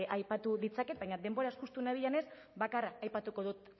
aipatu ditzaket baina denboraz justu nabilenez bakarra aipatuko dut